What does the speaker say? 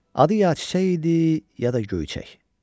Adı ya Çiçək idi, ya da Göyçək.